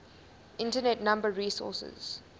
internet number resources